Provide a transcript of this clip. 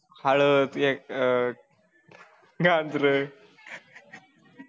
हळद एक अह हे अदरक